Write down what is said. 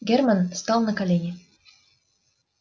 германн стал на колени